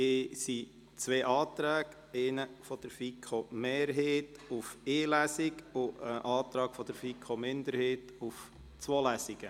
Es liegen zwei Anträge vor, der eine von der FiKo-Mehrheit auf eine Lesung und der andere von der FiKo- Minderheit auf zwei Lesungen.